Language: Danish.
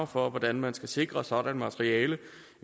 for hvordan man skal sikre sådant materiale